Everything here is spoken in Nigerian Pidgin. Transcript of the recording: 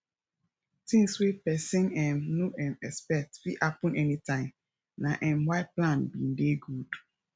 things wey person um no um expect fit happen any time na um why plan b dey good